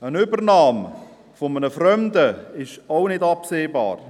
Eine Übernahme durch einen Fremden ist auch nicht absehbar.